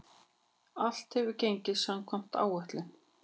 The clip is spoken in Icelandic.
Allt hefur gengið samkvæmt áætlun.